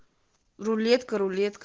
рулетка рулетка